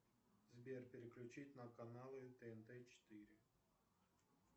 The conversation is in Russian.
сбер переключить на каналы тнт четыре